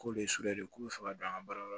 K'o de sɔr'ale k'o bɛ fɛ ka don an ka baara la